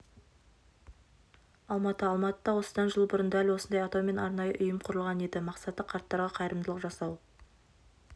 алматы алматыда осыдан жыл бұрын дәл осындай атаумен арнайы ұйым құрылған еді мақсаты қарттарға қайырымдылық жасау